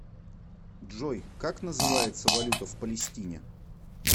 джой как называется валюта в палестине